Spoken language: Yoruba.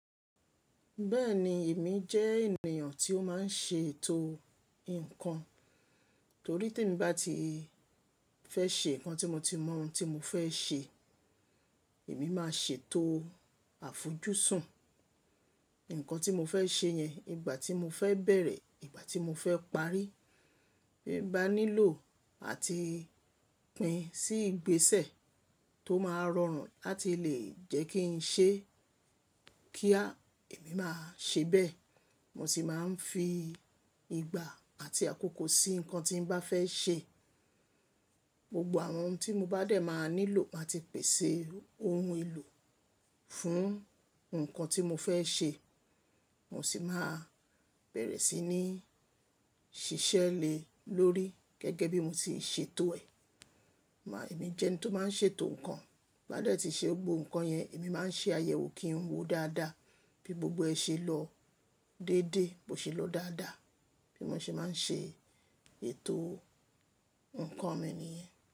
Bẹ́ẹ̀ni, èmi jẹ́ ènìyàn tí ó máa ń ṣe ètò nǹkan. Torí tí èmi bá ti fẹ́ ṣe nǹkan tí mo ti mọ ohun tí mo fẹ́ ṣe, èmi máa ṣètò àfojúsùn. Ǹkan tí mo fẹ́ ṣe yẹn, ìgbà tí mo fẹ́ bẹ̀rẹ̀, ìgbà tí mo fẹ́ parí, bí ń bá nílò àti pín sí ìgbésẹ̀ tó máa rọrùn láti lè jẹ́ kí n ṣe kíá, èmi máa ṣe bẹ́ẹ̀. Mo sì máa ń fi ìgbà àti àkókò sí nǹkan tí ń bá fẹ́ ṣe. Gbogbo àwọn ohun tí mo bá dẹ̀ máa nílò máa ti pèsè ohun èlò fún nǹkan tí mo fẹ́ ṣe. Mo sì máa bẹ̀rẹ̀ sí ní ṣiṣẹ́ lé lórí gẹ́gẹ́ bí mo ti ṣètò ẹ̀. Máa, èmi jẹ́ ẹni tó máa ń ṣètò nǹkan. Bá dẹ̀ tí ṣe gbogbo nǹkan yẹn, èmi máa ń ṣe àyẹ̀wò, kín wò dáadáa, bí gbogbo ẹ ṣe lọ déédé, bó ṣe lọ dáadáa. Bí mo ṣe máa ń ṣe ètò nǹkan mi nìyẹn.